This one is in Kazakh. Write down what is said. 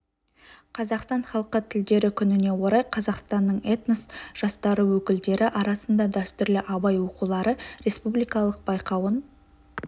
қазақстан халқы тілдері күніне орай қазақстанның этнос жастары өкілдері арасында дәстүрлі абай оқулары республикалық байқауын